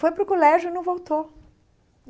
Foi para o colégio e não voltou.